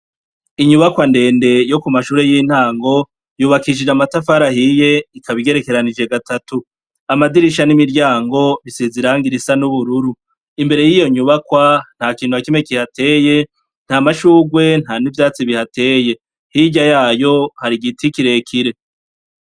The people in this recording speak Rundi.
Inyubakwa ndende yo ku mashure y'intango yubakishije amatafari ahiye ikaba igerekeranije gatatu, amadirisha n'imiryango bisize irangi risa n'ubururu, imbere y'iyo nyubakwa nta kintu na kimwe kihateye, nta mashurwe, nta n'ivyatsi bihateye, hirya yayo hari igiti kirekire.